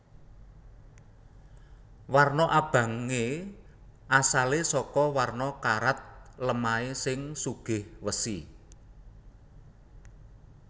Warna abangé asalé saka warna karat lemahé sing sugih wesi